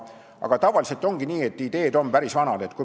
Aga tavaliselt ongi nii, et ideed on päris vanad.